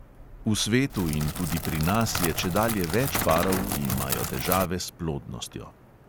V svetu in tudi pri nas je čedalje več parov, ki imajo težave s plodnostjo.